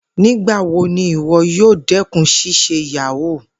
Nigbawo ni iwọ yoo dẹkun ṣiṣe yahoo?